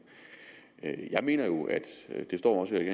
jeg mener jo det står også i